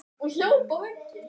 Haft gaman af.